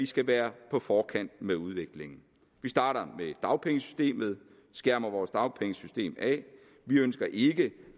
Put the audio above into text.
skal være på forkant med udviklingen vi starter med dagpengesystemet og skærmer vores dagpengesystem af vi ønsker ikke